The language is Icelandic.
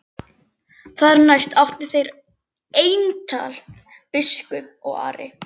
Þar næst áttu þeir eintal biskup og Ari.